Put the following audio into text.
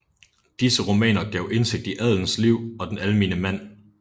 Disse romaner gav indsigt i adelens liv og den almene mand